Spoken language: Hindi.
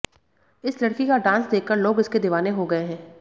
इस लड़की का डांस देखकर लोग इसके दीवाने हो गए है